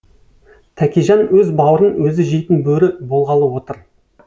тәкежан өз баурын өзі жейтін бөрі болғалы отыр